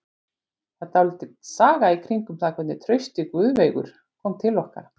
Það er dálítil saga í kringum það hvernig Trausti Guðveigur kom til okkar.